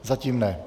Zatím ne.